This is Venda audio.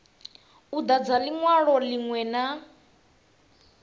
u dadza linwalo linwe na